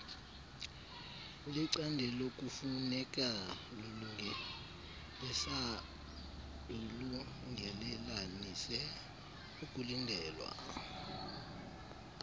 lecandelokufuneka lulungelelanise okulindelwe